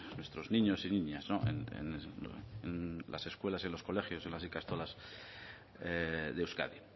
nuestros niños y niñas en las escuelas y en los colegios en las ikastolas de euskadi